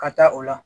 Ka taa o la